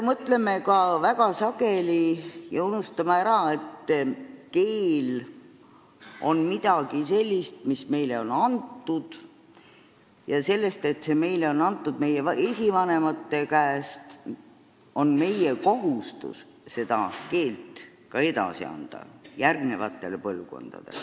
Sageli me unustame ära, et keel on midagi sellist, mille meile on andnud meie esivanemad, ja nii on meie kohustus see edasi anda järgmistele põlvkondadele.